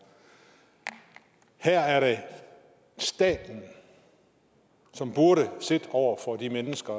her er det staten som burde sidde over for de mennesker